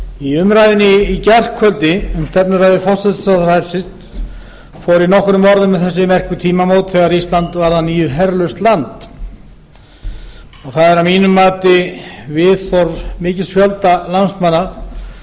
í umræðunni í gærkvöldi um stefnuræðu hæstvirts forsætisráðherra fór ég nokkrum orðum um þau merku tímamót þegar ísland varð að nýju herlaust land og það er að mínu mati viðhorf mikils fjölda landsmanna